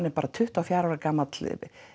er bara tuttugu og fjögurra ára gamall